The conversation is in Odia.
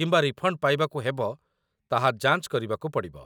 କିମ୍ବା ରିଫଣ୍ଡ୍ ପାଇବାକୁ ହେବ ତାହା ଯାଞ୍ଚ କରିବାକୁ ପଡ଼ିବ